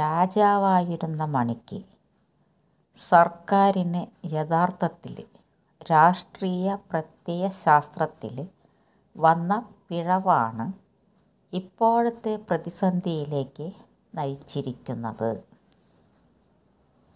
രാജാവായിരുന്ന മണിക്ക് സര്ക്കാരിന് യഥാര്ത്ഥത്തില് രാഷ്ട്രീയ പ്രത്യയശാസ്ത്രത്തില് വന്ന പിഴവാണ് ഇപ്പോഴത്തെ പ്രതിസന്ധിയിലേക്ക് നയിച്ചിരിക്കുന്നത്